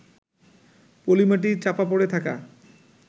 পলিমাটি চাপা পড়ে থাকা